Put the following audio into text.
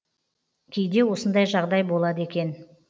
кейде осындай жағдай болады екен